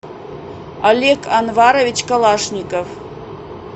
олег анварович калашников